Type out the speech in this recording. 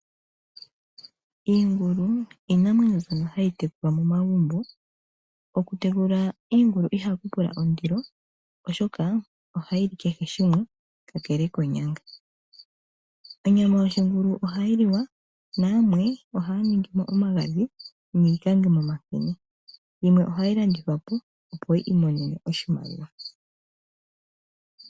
Iingulu iinamwenyo mbyoka ha yi tekulwa momagumbo Okutekula iingulu iha ku tekula ondilo oshoka iingulu oha yili kehe shimwe kakele koonyanga. Onyama yoshingulu oha yi liwa nayamwe oha ya ningi omagadhi yimwe ohayi landithwa po opo yi imonene oshimaliwa.